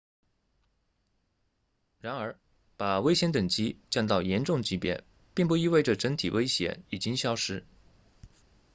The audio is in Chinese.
然而把威胁等级降到严重级别并不意味着整体威胁已经消失